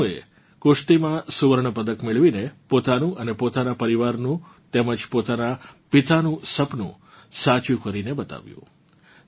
તનુએ કુશ્તીમાં સ્વર્ણ પદક મેળવીને પોતાનું અને પોતાનાં પરિવારનું તેમજ પોતાનાં પિતાનું સપનું સાચું કરીને બતાવ્યું છે